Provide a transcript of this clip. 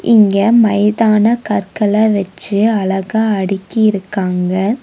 இங்க மைதான கற்கள வெச்சு அழகா அடிக்கி இருக்காங்க.